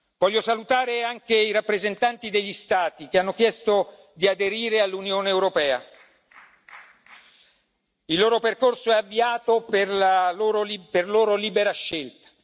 Voglio salutare anche i rappresentanti degli Stati che hanno chiesto di aderire all'Unione europea il loro percorso è avviato per loro libera scelta.